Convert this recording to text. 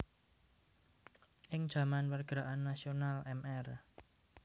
Ing jaman pergerakan nasional Mr